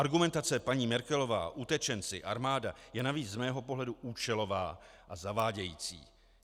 Argumentace paní Merkelová, utečenci, armáda je navíc z mého pohledu účelová a zavádějící.